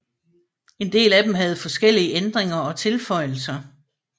En del af dem havde forskellige ændringer og tilføjelser